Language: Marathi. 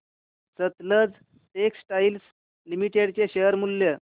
सतलज टेक्सटाइल्स लिमिटेड चे शेअर मूल्य